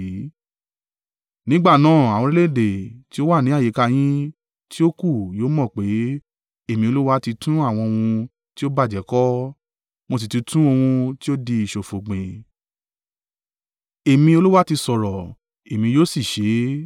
Nígbà náà àwọn orílẹ̀-èdè tí ó wà ní àyíká yín tí ó kù yóò mọ̀ pé, Èmi Olúwa ti tún àwọn ohun tí ó bàjẹ́ kọ́, mo sì ti tún ohun tí ó di ìṣòfo gbìn. Èmi Olúwa ti sọ̀rọ̀, èmi yóò sì ṣe e?’